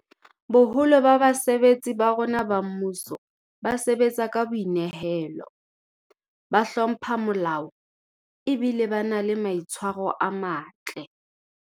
Boholo ba basebetsi ba rona ba mmuso ba sebatsa ka boi nehelo, ba hlompha molao ebile ba na le maitshwaro a matle.